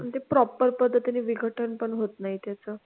आणि ते proper पद्धतीने विघटन पण होत नाही त्याचं.